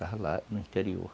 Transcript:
Estava lá no interior.